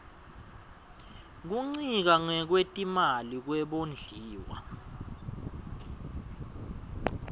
kuncika ngekwetimali kwebondliwa